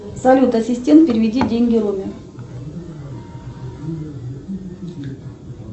салют ассистент переведи деньги роме